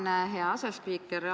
Tänan, hea asespiiker!